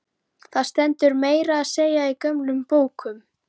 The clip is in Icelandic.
Það stendur meira að segja í gömlum bókum.